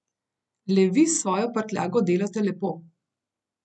Le vi s svojo prtljago delate lepo.